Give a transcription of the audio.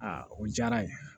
Aa o diyara ye